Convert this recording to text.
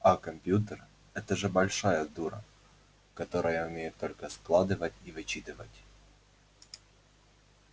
а компьютер это же большая дура которая умеет только складывать и вычитывать